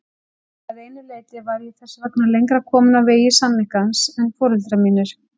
Að einu leyti var ég þess vegna lengra komin á vegi sannleikans en foreldrar mínir.